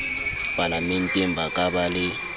palamenteng ba ka ba le